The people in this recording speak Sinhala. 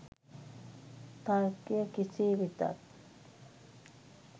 තර්කය කෙසේ වෙතත්